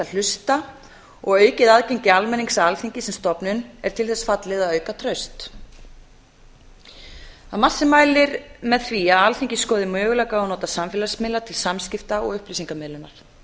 hlusta og aukið aðgengi almennings að alþingi sem stofnun er til þess fallið að auka traust það er margt sem mælir með því að alþingi skoði möguleika á að nota samfélagsmiðla til samskipta og upplýsingamiðlunar